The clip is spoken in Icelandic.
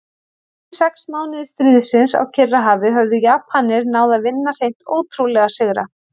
Fyrstu sex mánuði stríðsins á Kyrrahafi höfðu Japanir náð að vinna hreint ótrúlega sigra.